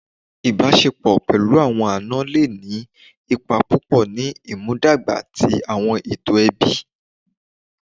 Ìbáṣepọ̀ pẹ̀lú àwọn àna le ní ipa púpọ̀ ní ìmúdàgba ti àwọn ètò ẹbí